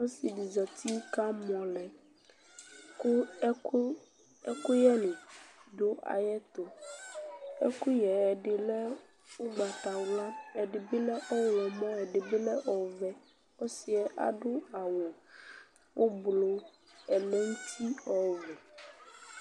Ɔsɩ dɩ zati kʋ amɔ lɛ kʋ ɛkʋ ɛkʋyɛnɩ dʋ ayɛtʋ Ɛkʋyɛ yɛ ɛdɩ lɛ ʋgbatawla, ɛdɩ bɩ lɛ ɔɣlɔmɔ, ɛdɩ bɩ lɛ ɔvɛ Ɔsɩ yɛ adʋ awʋ ʋblʋ ɛmɛ nʋ uti ɔwɛ